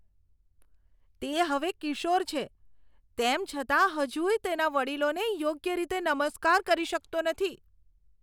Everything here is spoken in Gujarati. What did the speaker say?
તે હવે કિશોર છે, તેમ છતાં હજુય તેના વડીલોને યોગ્ય રીતે નમસ્કાર કરી શકતો નથી.